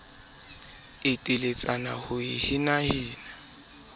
e teletsana ho e henahena